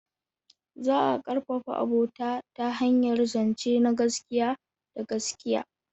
Za a ƙarfafa abota ta hanyar zance na gaskiya da gaskiya.